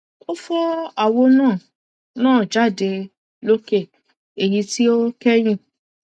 ó fọ àwo náà náà jáde lókè èyí tí ó kẹyìn